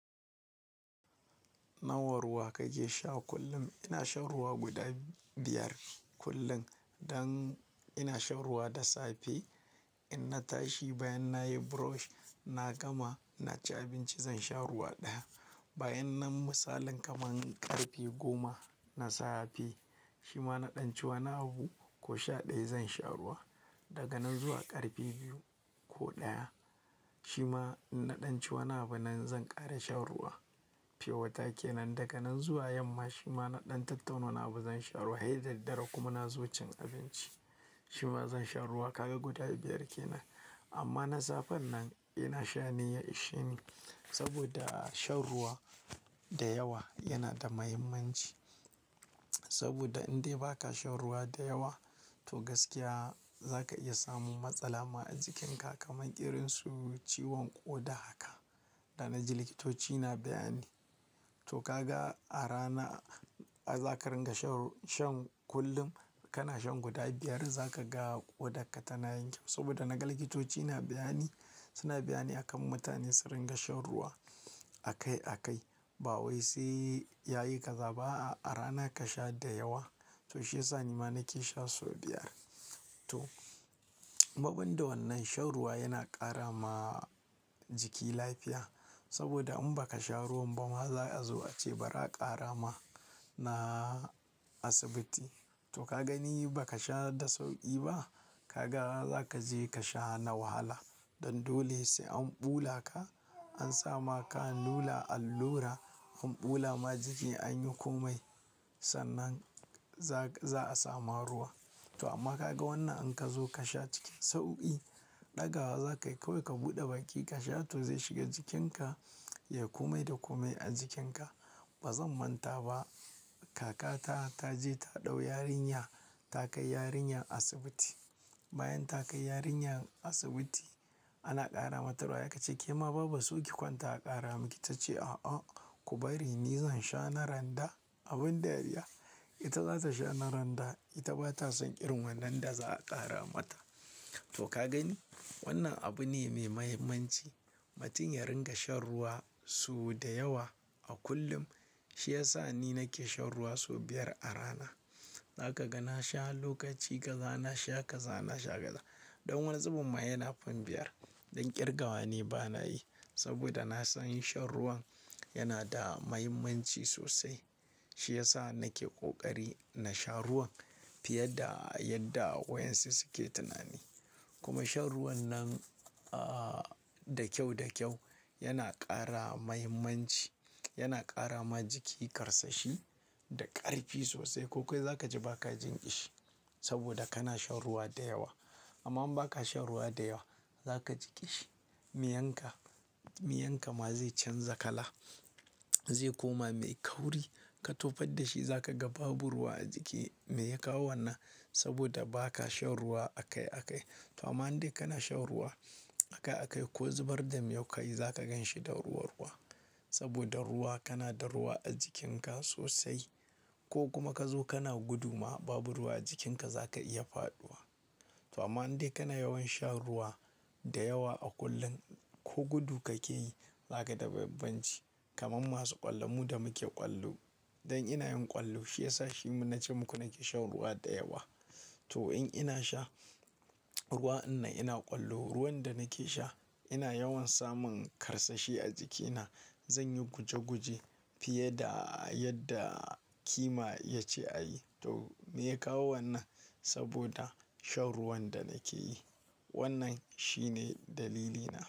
Na wa ruwa ka ke sha kullum. Ina shan ruwa guda biyar kullum. Dan ina shan ruwa da safe, in na tashi bayan na yi brush, na gama na ci abinci, zan sha ruwa ɗaya. Bayan nan misalin kaman ƙarfe goma na safe, shima na ɗan ci wani abu ko sha ɗaya zan sha ruwa. Daga nan zuwa ƙarfe biyu ko ɗaya, shima in na ɗan ci wani abu nan zan ƙara shan ruwa. Pure water ke nan daga nan zuwa yamma shima na ɗan tattauna wani abu zan sha ruwa he da daddare kuma na zuwa cin abinci, shima zan sha ruwa. Ka ga guda biyar ke nan. Amma na safan nan ina sha ne yaishe ni saboda shan ruwa da yawa yana da mahimmanci. Saboda in dai ba ka shan ruwa da yawa to gaskiya za ka iya samun matsala ma a jikinka kaman irinsu ciwon ƙoda haka. Dan na ji likitoci na bayani. To ka ga a rana, a za ka ringa shan, shan kullum, kana shan guda biyar za ka ga ƙodarka tanayin kyau. Saboda na ga likitoci na bayani, suna bayani a kan mutane su ringa shan ruwa akai akai. Ba wai sai yayi kaza ba a rana ka sha da yawa. To shi ya sa ni ma na ke sha sau biyar. To, ma banda wannan shan ruwa yana ƙara ma jiki lafiya. Saboda in ba ka sha ruwan ba ma za a zo a ce bara ƙara ma na asibiti. To ka gani ba ka sha da sauƙi ba, ka ga za ka je ka sha na wahala. Dan dole sai an ɓula ka, an sa ma kanula allura, an ɓula ma jiki anyi komai sannan za, za a sama ruwa. To amma ka ga wannan in ka zo ka sha cikin sauƙi, ɗaga wa za ka yi kawai ka buɗe baki ka sha, to zai shiga jikinka yay komai da komai a jikinka. Ba zan manta ba, kakata ta je ta ɗau yarinya, ta kai yarinyan asibiti. Bayan ta kai yarinyan asibiti ana ƙara mata ruwa aka ce "Kema baba zo ki kwanta a ƙara miki", ta ce "A'a ku bari ni zan sha na randa", abin dariya. Ita za ta sha na randa, ita ba ta son irin wannan da za a ƙara mata. To ka gani wannan abu ne mai mahimmanci. Mutum ya ringa shan ruwa sau da yawa a kullum. Shi ya sa ni nake shan ruwa sau biyar a rana. Za ka ga na sha lokaci kaza, na sha kaza, na sha kaza. Don wane zubin ma yana fim biyar. Don ƙirgawa ne ba na yi saboda na san shan ruwan yana da mahimmanci sosai. Shi ya sa na ke ƙoƙari na sha ruwan fiye da yadda waƴensu suke tunani. Kuma shan ruwan nan, ah, da kyau da kyau yana ƙara mahimmanci, yana ƙara ma jiki karsashi da ƙarfi sosai. Kokai za ka ji ba ka jin ƙishi saboda kana shan ruwa da yawa. Amma in ba ka shan ruwa da yawa za ka ji ƙishi. Miyan ka, miyan ka ma zai canza kala, zai koma mai kauri. Ka tofar da shi za ka ga babu ruwa a jiki. Me ya kawo wannan? Saboda ba ka shan ruwa akai akai. Amma in dai kana shan ruwa akai akai ko zubar da miyau ka yi za ka gan shi da ruwa ruwa. Saboda ruwa kana da ruwa a jikinka sosai. Ko kuma ka zo kana gudu ma babu ruwa a jikinka za ka iya faɗuwa. To amma in dai kana yawan shan ruwa da yawa a kullum ko gudu ka ke yi za ka ga da banbanci. Kaman masu ƙwallo muda muke ƙwallo. Dan ina yin ƙwallo shi ya sa shi mu-- na ce muku na ke shan ruwa da yawa. To in ina sha ruwa in ina ƙwallo, ruwan da nake sha ina yawan samun karsashi a jikina. Zan yi guje guje fiye da yadda Kima ya ce a yi. To me ya kawo wannan saboda shan ruwan da nake yi. Wannan shi ne dalilina.